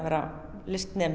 vera